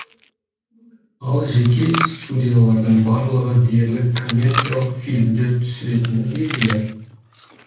ал жеке студиялардың барлығы дерлік коммерциялық фильмдер түсіретіні белгілі